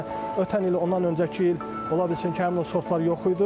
Məsələn, ötən il ondan öncəki il ola bilsin ki, həmin o sortlar yox idi.